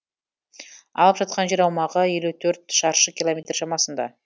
алып жатқан жер аумағы елу төрт шаршы километр шамасында